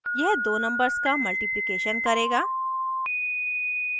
यह दो numbers का multiplication करेगा